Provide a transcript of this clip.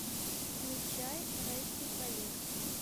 включай райский проект